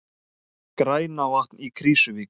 Grænavatn í Krýsuvík.